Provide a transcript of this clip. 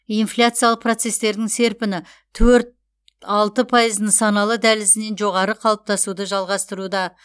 инфляциялық процестердің серпіні төрт алты пайыз нысаналы дәлізінен жоғары қалыптасуды жалғастыруда